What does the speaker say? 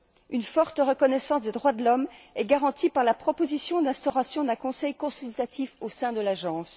Une forte reconnaissance des droits de l'homme est garantie par la proposition d'instauration d'un conseil consultatif au sein de l'agence.